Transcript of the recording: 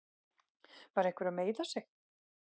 Var einhver að meiða sig?